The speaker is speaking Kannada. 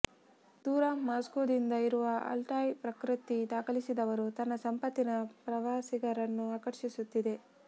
ದೂರ ಮಾಸ್ಕೋದಿಂದ ಇರುವ ಅಲ್ಟಾಯ್ ಪ್ರಕೃತಿ ದಾಖಲಿಸಿದವರು ತನ್ನ ಸಂಪತ್ತಿನ ಪ್ರವಾಸಿಗರನ್ನು ಆಕರ್ಷಿಸುತ್ತಿದೆ